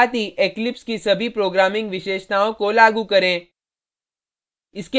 साथ ही eclipse की सभी programming विशेषताओं को लागू करें